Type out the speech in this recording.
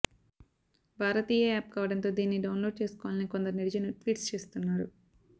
భారతీయా app కావడంతో దీనిని download చేసుకోవాలని కొందరు నెటిజన్లు ట్వీట్స్ చేస్తున్నారు